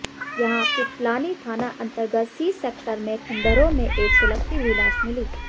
यहां पिपलानी थाना अंतर्गत सी सेक्टर में खंडहरों में एक सुलगती हुई लाश मिली